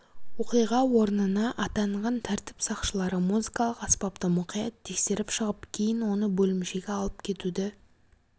оқиға орнына атанған тәртіп сақшылары музыкалық аспапты мұқият тексеріп шығып кейін оны бөлімшеге алып кетуді